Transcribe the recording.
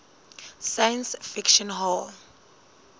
science fiction hall